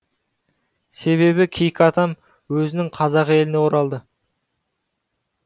себебі кейкі атам өзінің қазақ еліне оралды